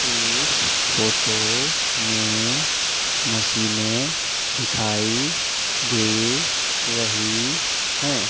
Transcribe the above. इस फोटो में मशीनें दिखाई दे रही हैं।